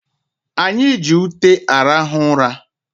Anyị ji ute arahụ ụra